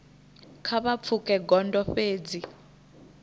kha vha pfuke gondo fhedzi